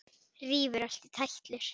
Rífur allt í tætlur.